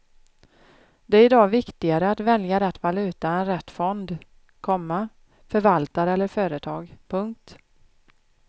Det är i dag viktigare att välja rätt valuta än rätt fond, komma förvaltare eller företag. punkt